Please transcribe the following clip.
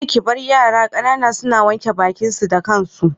Kar kibar yara ƙanana suna wanke baƙin su da kansu.